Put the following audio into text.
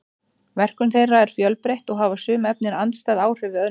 verkun þeirra er fjölbreytt og hafa sum efnin andstæð áhrif við önnur